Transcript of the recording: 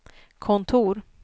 kontor